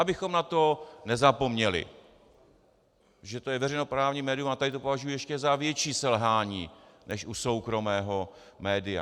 Abychom na to nezapomněli, že to je veřejnoprávní médium, a tady to považuji ještě za větší selhání než u soukromého média.